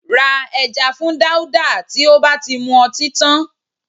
Ra ẹja fún Dáúdà tí ó bá ti mu ọtí tán